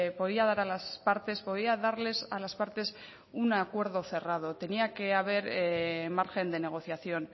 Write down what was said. podía dar a las partes podía darles a las partes un acuerdo cerrado tenía que haber margen de negociación